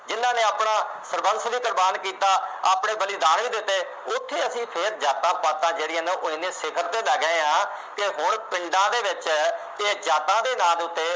ਸਰਬੰਸ ਵੀ ਕੁਰਬਾਨ ਕੀਤਾ, ਆਪਣੇ ਬਲੀਦਾਨ ਵੀ ਦਿੱਤੇ, ਉੱਥੇ ਅਸੀਂ ਫੇਰ ਜਾਤਾਂ ਪਾਤਾਂ ਜਿਹੜੀਆਂ ਨੇ ਉਹ ਐਨੇ ਸਿਖ਼ਰ ਤੇ ਲੈ ਗਏ ਹਾਂ ਕਿ ਹੁਣ ਪਿੰਡਾਂ ਦੇ ਵਿੱਚ ਜੇ ਜਾਤਾਂ ਦੇ ਨਾਂ ਦੇ ਉੱਤੇ,